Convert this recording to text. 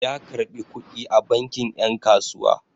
Ya karɓi kuɗi a banki 'yan kasuwa.